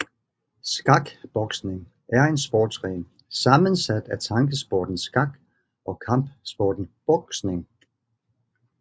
Skakboksning er en sportsgren sammensat af tankesporten skak og kampsporten boksning